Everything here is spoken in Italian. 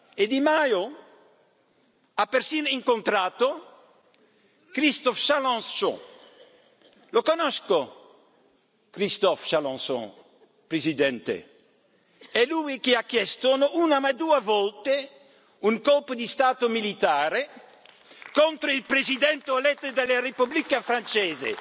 E Di Maio ha persino incontrato Christophe Chalencon. Lo conosco Christophe Chalencon, Presidente è lui che ha chiesto, non una ma due volte, un colpo di Stato militare contro il Presidente eletto della Repubblica francese.